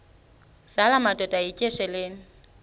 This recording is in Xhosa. zala madoda yityesheleni